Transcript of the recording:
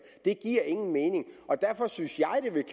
det giver ingen mening derfor synes